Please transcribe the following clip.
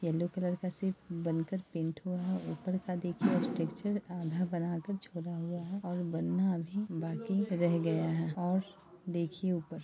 Yellow colour का सिर्फ बनकर पेंट हुआ है। ऊपर का देखिए स्ट्रक्चर आधा बनाकर छोड़ा हुआ है और बनना अभी बाकी रह गया है और देखिये ऊपर।